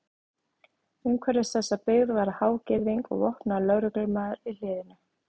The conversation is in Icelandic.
Umhverfis þessa byggð var há girðing og vopnaður lögreglumaður í hliðinu.